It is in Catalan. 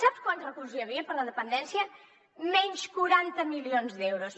sap quants recursos hi havia per a la dependència menys quaranta milions d’euros